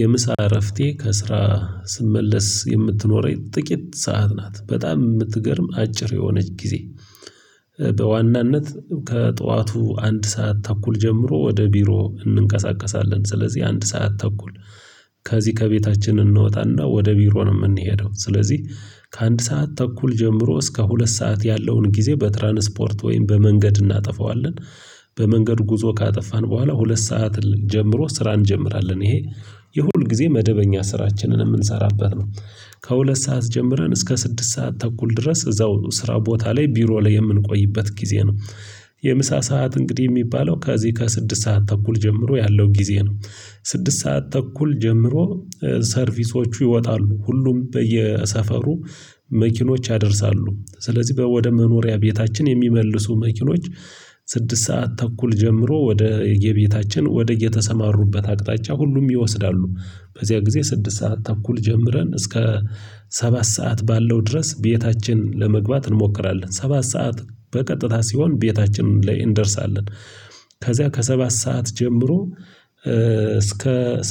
የምሳ እረፍቴ ከስራ ስመለስ የምትኖረኝ ጥቂት ሰዓት ናት በጣም የምትገርም አጭር የሆነች ጊዜ። በዋናነት ከጠዋቱ አንድ ሰዓት ተኩል ጀምሮ ወደ ቢሮ እንንቀሳቀሳለን ስለዚህ አንድ ሰዓት ተኩል ከዚህ ከቤታችን እንወጣና ወደ ቢሮ ነው የምንሄደው ስለዚህ ከአንድ ሰዓት ተኩል ጀምሮ እስከ ሁለት ሰዓት ያለውን ጊዜ በትራንስፖርት ወይም በመንገድ እናጠፋዋለን። በመንገድ ጉዞ ካጠፋን በኋላ ሁለት ሰዓት ጀምሮ ስራ እንጀምራለን ይሄ የሁል ጊዜ መደበኛ ስራችንን የምንሰራበት ነው። ከሁለት ሰዓት ጀምረን እስከ ስድስት ሰዓት ተኩል ድረስ እዛው ስራ ቦታ ላይ ቢሮ ላይ የምንቆይበት ጊዜ ነው። የምሳ ሰዓት እንግዲህ የሚባለው ከዚህ ከስድስት ሰዓት ተኩል ጀምሮ ያለው ጊዜ ነው። ስድስት ሰዓት ተኩል ጀምሮ ሰርቪሶቹ ይወጣሉ። ሁሉም በየሰፈሩ መኪኖች ያደርሳሉ ስለዚህ ወደ መኖሪያ ቤታችን የሚመልሱ መኪኖች ስድስት ሰዓት ተኩል ጀምሮ ወደየቤታችን ወደ የተሰማሩበት አቅጣጫ ሁሉም ይወስዳሉ። በዚያ ጊዜ ስድስት ሰዓት ተኩል ጀምረን እስከ ሰባት ሰዓት ባለው ድረስ ቤታችን ለመግባት እንሞክራለን ሰባት ሰዓት በቀጥታ ሲሆን ቤታችን ላይ እንደርሳለን። ከዚያ ከሰባት ሰዓት ጀምሮ እስከ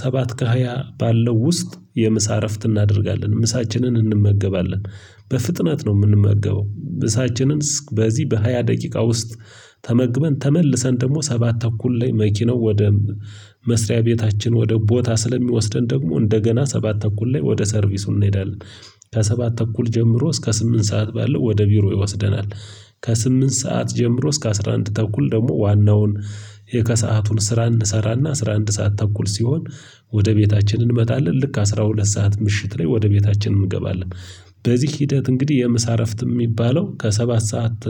ሰባት ከሃያ ባለው ውስጥ የምሳ እረፍት እናደርጋለን ምሳችንን እንመገባለን። በፍጥነት ነው የምንመገበው ምሳችንን በዚህ በሃያ ደቂቃ ውስጥ ተመግበን ተመልሰን ደግሞ ሰባት ተኩል ላይ መኪናው ወደ መስሪያ ቤታችን ወደ ቦታ ስለሚወስደን ደግሞ እንደገና ሰባት ተኩል ላይ ወደ ሰርቪስ እንሄዳለን። ከሰባት ተኩል ጀምሮ እስከ ስምንት ሰዓት ባለው ወደ ቢሮ ይወስደናል። ከስምንት ሰዓት ጀምሮ እስከ አስራ አንድ ተኩል ደግሞ ዋናውን የከሰአቱን ስራ እንሰራና አስራ አንድ ሰዓት ተኩል ሲሆን ወደ ቤታችን እንመጣለን ልክ አስራ ሁለት ሰዓት ምሽት ላይ ወደ ቤታችን እንገባለን። በዚህ ሂደት እንግዲህ የመሳረፍት የሚባለው ከሰባት ሰዓት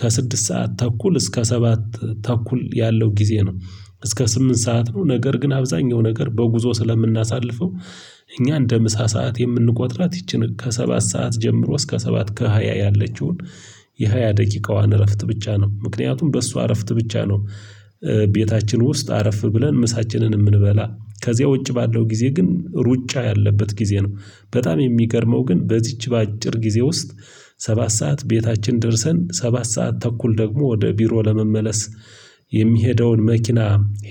ከስድስት ሰዓት ተኩል እስከ ሰባት ተኩል ያለው ጊዜ ነው። እስከ ስምንት ሰዓት ነው ነገር ግን አብዛኛው ነገር በጉዞ ስለምናሳልፈው እኛ እንደ ምሳ ሰዓት የምንቆጥራት ይቺን ከሰባት ሰዓት ጀምሮ እስከ ሰባት ከሃያ ያለችውን የሃያ ደቂቃዋን እረፍት ብቻ ነው ምክንያቱም በሷ እረፍት ብቻ ነው። ቤታችን ውስጥ አረፍ ብለን ምሳችንን የምንበላ ከዚያ ውጭ ባለው ጊዜ ግን ሩጫ ያለበት ጊዜ ነው። በጣም የሚገርመው ግን በዚች በአጭር ጊዜ ውስጥ ሰባት ሰዓት ቤታችን ደርሰን ሰባት ሰዓት ተኩል ደግሞ ወደ ቢሮ ለመመለስ የሚሄደውን መኪና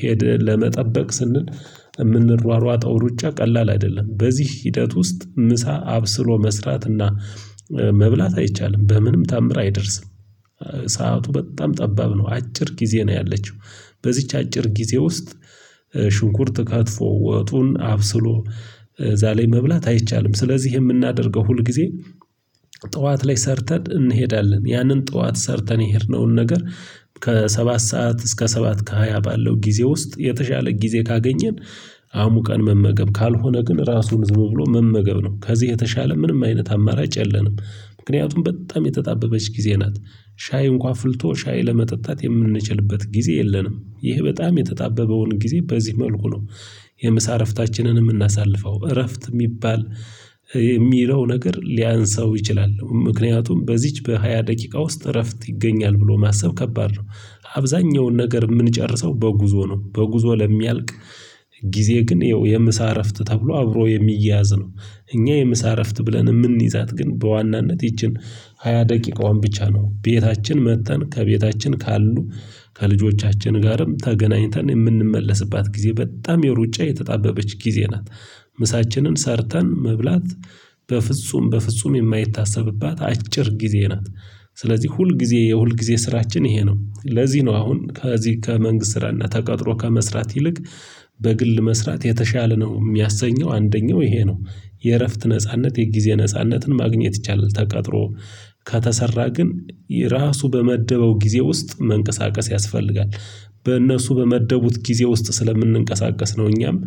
ሄደን ለመጠበቅ ስንል የምንሯሯጠው ሩጫ ቀላል አይደለም። በዚህ ሂደት ውስጥ ምሳ አብስሎ መስራትና መብላት አይቻልም። በምንም ተአምር አይደርስም። ሰዓቱ በጣም ጠባብ ነው አጭር ጊዜ ነው ያለችው። በዚች አጭር ጊዜ ውስጥ ሽንኩርት ከትፎ ወጡን አብስሎ እዛላይ መብላት አይቻልም። ስለዚህ የምናደርገው ሁል ጊዜ ጠዋት ላይ ሰርተን እንሄዳለን። ያንን ጠዋት ሰርተን የሄድነውን ነገር ከሰባት ሰዓት እስከ ሰባት ከሃያ ባለው ጊዜ ውስጥ የተሻለ ጊዜ ካገኘን አሙቀን መመገብ ካልሆነ ግን ራሱን ዝም ብሎ መመገብ ነው ከዚህ የተሻለ ምንም አይነት አማራጭ የለንም። ምክንያቱም በጣም የተጣበበች ጊዜ ናት። ሻይ እንኳን ፍልቶ ሻይ ለመጠጣት የምንችልበት ጊዜ የለንም ይሄ በጣም የተጣበበውን ጊዜ በዚህ መልኩ ነው። የምሳ እረፍታችንን የምናሳልፈው እረፍት የሚባል የሚለው ነገር ሊያንስው ይችላል ምክንያቱም በዚች በሃያ ደቂቃ ውስጥ እረፍት ይገኛል ብሎ ማሰብ ከባድ ነው። አብዛኛውን ነገር የምንጨርሰው በጉዞ ነው በጉዞ ለሚያልቅ ጊዜ ግን ይኸው የምሳ እረፍት ተብሎ አብሮ የሚያዝ ነው። እኛ የምሳረፍት ብለን የምንይዛት ግን በዋናነት ይቺን ሃያ ደቂቃዋን ብቻ ነው ቤታችን መጥተን ከቤታችን ካሉ ከልጆቻችን ጋርም ተገናኝተን የምንመለስባት ጊዜ በጣም የሩጫ የተጣበበች ጊዜ ናት። ምሳችንን ሰርተን መብላት በፍጹም በፍጹም የማይታሰብባት አጭር ጊዜ ናት። ስለዚህ ሁል ጊዜ የሁል ጊዜ ስራችን ይሄ ነው። ለዚህ ነው አሁን ከዚህ ከመንግስት ስራና ተቀጥሮ ከመስራት ይልቅ በግል መስራት የተሻለ ነው የሚያሰኘው አንደኛው ይሄ ነው። የእረፍት ነጻነት የጊዜ ነጻነትን ማግኘት ይቻላል። ተቀጥሮ ከተሰራ ግን እራሱ በመደበው ጊዜ ውስጥ መንቀሳቀስ ያስፈልጋል። በእነሱ በመደቡት ጊዜ ውስጥ ስለምንንቀሳቀስ ነው እኛም።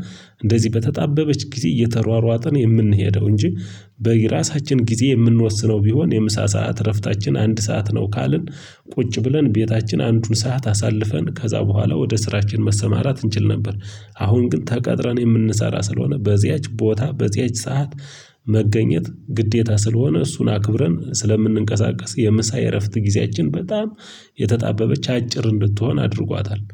እንደዚህ በተጣበበች ጊዜ እየተሯሯጥን የምንሄደው እንጂ በራሳችን ጊዜ የምንወስነው ቢሆን የምሳ ሰዓት እረፍታችን አንድ ሰዓት ነው ካልን። ቁጭ ብለን እቤታችን አንዱን ሰዓት አሳልፈን ከዛ ቡሃላ ወደ ስራችን መሰማራት እንችል ነበር። አሁን ግን ተቀጥረን የምንሰራ ስለሆነ በዚያች ቦታ በዚያች ሰዓት መገኘት ግዴታ ስለሆነ እሱን አክብረን ስለምንንቀሳቀስ የምሳ የእረፍት ጊዚያችን በጣም የተጣበበች አጭር እንድትሆን አድርጓታል